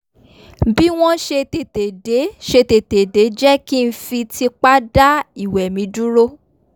bí wọ́n ṣe tètè dé ṣe tètè dé jẹ́ kí n fi tipá dá ìwẹ̀ mi dúró